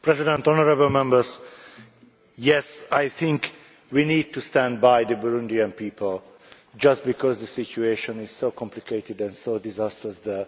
Madam President, yes, I think we need to stand by the Burundian people, just because the situation is so complicated and so disastrous there.